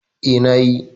Eh, na yi